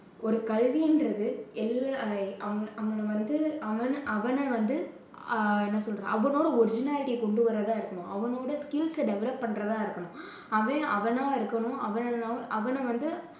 ஒரு கல்வின்றது எல்லா அவன் அவனை வந்து அவனை வந்து ஆஹ் என்ன சொல்றது? அவனோட originality ய கொண்டு வர்றதா இருக்கணும். அவனோட skills ச develop பண்றதா இருக்கணும். அவன் அவனா இருக்கணும் அவ~ அவனை வந்து